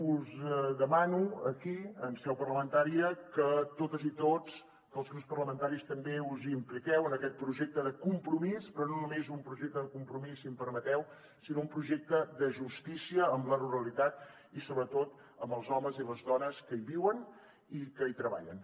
us demano aquí en seu parlamentària que totes i tots que els grups parlamentaris també us impliqueu en aquest projecte de compromís però no només un projecte de compromís si m’ho permeteu sinó un projecte de justícia amb la ruralitat i sobretot amb els homes i les dones que hi viuen i que hi treballen